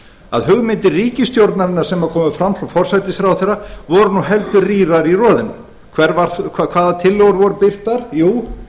að hugmyndir ríkisstjórnarinnar sem komu fram hjá forsætisráðherra voru nú heldur rýrar í roðinu hvaða tillögur voru birtar jú